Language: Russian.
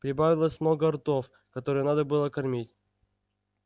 прибавилось много ртов которые надо было кормить